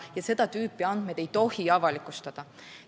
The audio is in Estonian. Ja seda tüüpi andmeid ei tohi avalikustada.